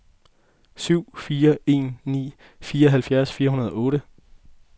syv fire en ni fireoghalvfjerds fire hundrede og otte